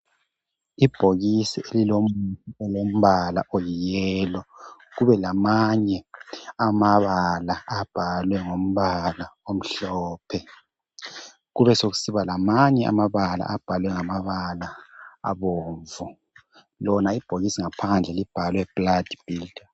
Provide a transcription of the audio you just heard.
Ibhokisi lilombala oyiyelo, kube lamanye amabala abhalwe ngombala omhlophe ,kubesikusiba lamanye amabala abhalwe ngamabala abomvu. Lona ibhokisisi ngaphandle libhalwe blood B.